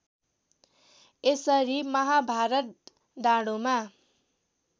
यसरी महाभारत डाँडोमा